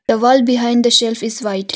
The wall behind the shelf is white.